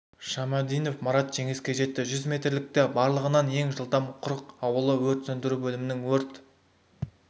шамадинов марат жеңіске жетті жүз метрлікте барлығынан ең жылдам құрық ауылы өрт сөндіру бөлімінің өрт